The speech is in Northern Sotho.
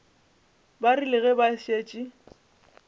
ba rile ge ba šetše